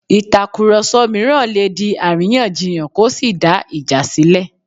Ìtàkùrọ̀sọ mìíràn lè di àríyànjiyàn kó sì dá ìjà sílẹ̀